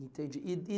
Entendi. E, e